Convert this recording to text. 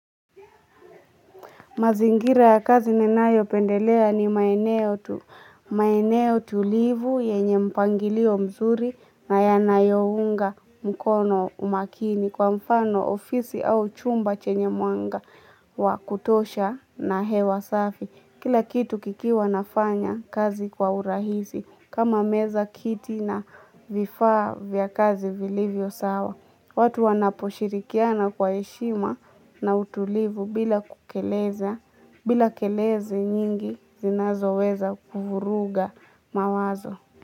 Mazingira ya kazi ninayopendelea ni maeneo tulivu yenye mpangilio mzuri na yanayounga mkono umakini kwa mfano ofisi au chumba chenye mwanga wa kutosha na hewa safi. Kila kitu kikiwa nafanya kazi kwa urahisi kama meza, kiti na vifaa vya kazi vilivyo sawa. Watu wanaposhirikiana kwa heshima na utulivu bila kukeleza, bila kelele nyingi zinazoweza kuvuruga mawazo.